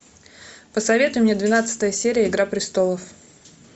посоветуй мне двенадцатая серия игра престолов